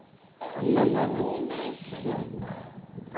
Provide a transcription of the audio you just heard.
Eh Ixe ser avó é muito diferente de ser mãe?